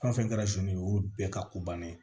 Fɛn fɛn kɛra olu bɛɛ ka ko bannen